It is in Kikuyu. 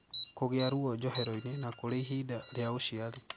Kũgia ruo njohero-ini, na kũri ihende ria ũciari.